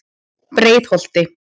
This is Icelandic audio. Breiðholti